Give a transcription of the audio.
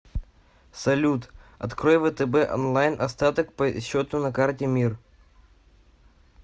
салют открой втб онлайн остаток по счету на карте мир